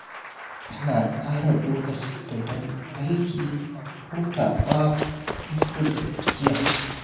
Tana tsara lokacinta don aiki da hutawa don gudun gajiya.